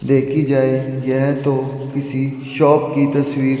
देखी जाए यह तो किसी शॉप की तस्वीर--